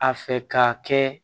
A fɛ ka kɛ